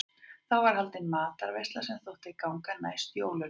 Þá var haldin matarveisla sem þótti ganga næst jólunum.